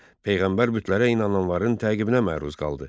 Peyğəmbər bütlərə inananların təqibinə məruz qaldı.